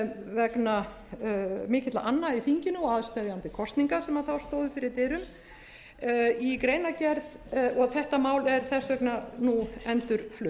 vegna mikilla anna í þinginu og aðsteðjandi kosninga sem þá stóðu fyrir dyrum og þetta mál er þess vegna nú endurflutt